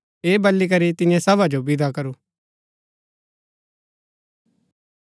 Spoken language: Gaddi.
ऐह बली करी तिन्ये सभा जो विदा करू